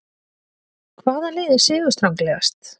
Hvaða lið er sigurstranglegast?